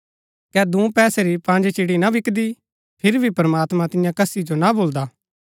कै दूँ पैसे री पँज चिड़ी ना बिकदी फिरी भी प्रमात्मां तियां कसी जो ना भूलदा